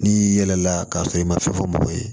N'i yɛlɛla k'a sɔrɔ i ma fɛn fɔ mɔgɔw ye